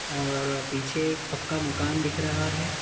और पीछे एक पक्का मकान दिख रहा है।